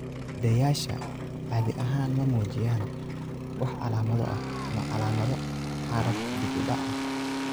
Sidayaashu caadi ahaan ma muujiyaan wax calaamado ah ama calaamado xaalad dib u dhac ah.